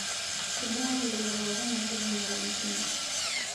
Eibungaki lelopooki oogira ainyal ntimi